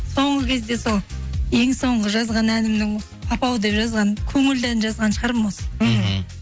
соңғы кезде сол ең соңғы жазған әнімнің папау деп жазған көңілді ән жазған шығармын осы мхм